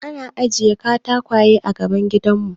An ajiye katakwaye a gaban gidanmu.